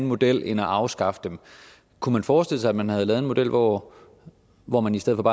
model end at afskaffe dem kunne man forestille sig at man havde lavet en model hvor hvor man i stedet